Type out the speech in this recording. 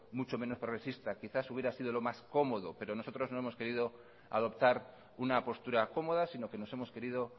mucho menos progresista quizás hubiera sido lo más cómodo pero nosotros no hemos querido adoptar una postura cómoda sino que nos hemos querido